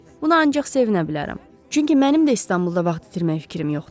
Buna ancaq sevinə bilərəm, çünki mənim də İstanbulda vaxt itirmək fikrim yoxdu.